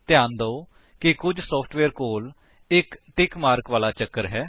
ਧਿਆਨ ਦਿਓ ਕਿ ਕੁੱਝ ਸੋਫਟਵੇਅਰ ਕੋਲ ਇਕ ਟਿਕ ਮਾਰਕ ਵਾਲਾ ਚੱਕਰ ਹੈ